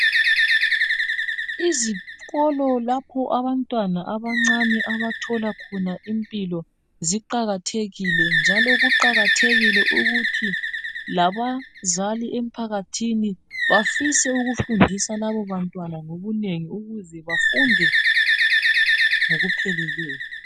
Izikolo lapho abantwana abancane abathola khona impilo ziqakathekile njalo kuqakathekile ukuthi labazali emphakathini bafise ukufundisa labo bantwana ngobunengi ukuze bafunde ngokupheleleyo